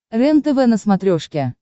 рентв на смотрешке